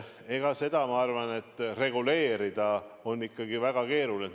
Seda, ma arvan, on reguleerida väga keeruline.